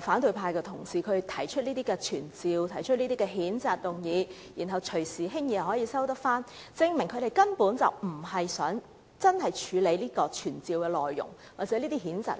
反對派的同事提出傳召或譴責議案後，既然可以隨時輕易撤回，證明他們根本無意處理傳召或譴責議案的內容，而只是想讓